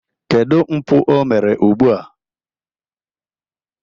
Kedu mpụ omere ugbua?